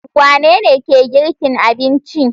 Wanene ke girki abincin?